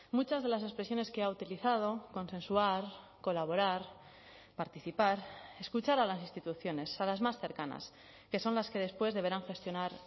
muchas de las expresiones que ha utilizado consensuar colaborar participar escuchar a las instituciones a las más cercanas que son las que después deberán gestionar